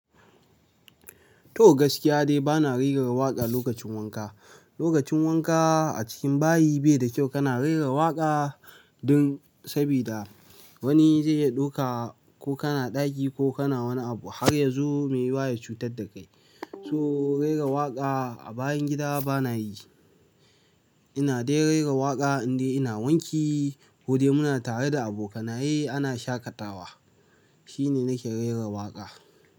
To gaskiya dai bana rera waƙa lokacin wanka. Lokacin wanka a cikin bayi bai da kyau kana rera waƙa don sabida wani zai ya ɗauka ko kana ɗagi ko kana wani abu har yazo mai wa ya cutar da kai. So rera waƙa a bayan gida bana yi. Ina dai rera waƙa indai ina wanki ko dai muna tare da abokanaye ana shaƙatawa. Shine nake rera waƙa.